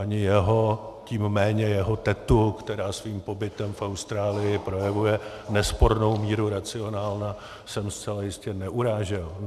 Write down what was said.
Ani jeho, tím méně jeho tetu, která svým pobytem v Austrálii projevuje nespornou míru racionálna, jsem zcela jistě neurážel.